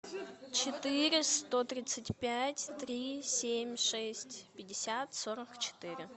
четыре сто тридцать пять три семь шесть пятьдесят сорок четыре